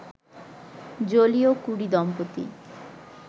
Joliot Curie দম্পতি